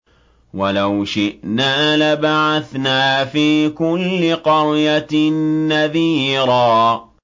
وَلَوْ شِئْنَا لَبَعَثْنَا فِي كُلِّ قَرْيَةٍ نَّذِيرًا